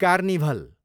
carnival